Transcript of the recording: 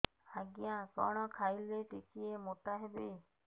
ଆଜ୍ଞା କଣ୍ ଖାଇଲେ ଟିକିଏ ମୋଟା ହେବି